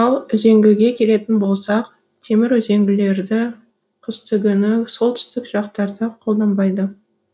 ал үзеңгіге келетін болсақ темір үзеңгілерді қыстыгүні солтүстік жақтарда қолданбайды